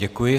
Děkuji.